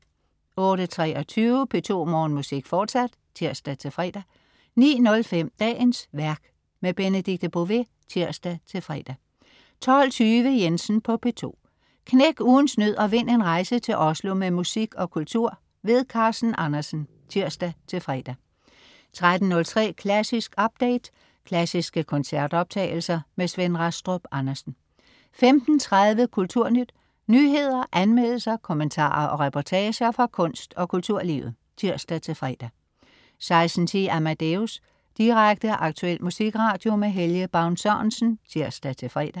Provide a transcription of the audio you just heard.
08.23 P2 Morgenmusik, fortsat (tirs-fre) 09.05 Dagens værk. Benedikte Bové (tirs-fre) 12.20 Jensen på P2. Knæk ugens nød og vind en rejse til Oslo med musik og kultur. Carsten Andersen (tirs-fre) 13.03 Klassisk update. Klassiske koncertoptagelser. Svend Rastrup Andersen 15.30 Kulturnyt. Nyheder, anmeldelser, kommentarer og reportager fra kunst- og kulturlivet (tirs-fre) 16.10 Amadeus. Direkte, aktuel musikradio. Helge Baun Sørensen (tirs-fre)